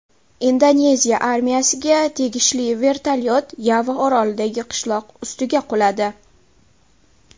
Indoneziya armiyasiga tegishli vertolyot Yava orolidagi qishloq ustiga quladi.